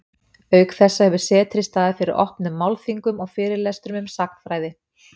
auk þessa hefur setrið staðið fyrir opnum málþingum og fyrirlestrum um sagnfræði